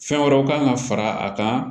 Fɛn wɛrɛw kan ka fara a kan